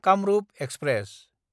Kamrup express